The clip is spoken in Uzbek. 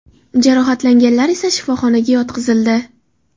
Jarohatlanganlar esa shifoxonaga yotqizildi.